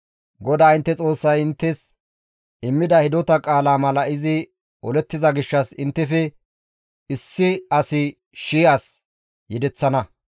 GODAA intte Xoossay inttes immida hidota qaala mala izi olettiza gishshas inttefe issi asi shii as yedeththana.